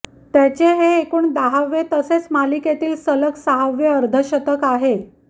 त्याचे हे एकूण दहावे तसेच मालिकेतील सलग सहावे अर्धशतक आहे